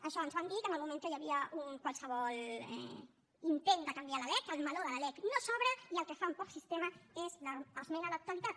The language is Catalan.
això ens van dir que en el moment que hi havia un qualsevol intent de canviar la lec el meló de la lec no s’obre i el que fan per sistema és l’esmena a la totalitat